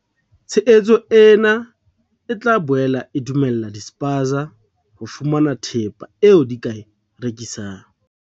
Tshehetso ena e tla boela e dumella di-spaza ho fumana thepa eo di ka e rekisang.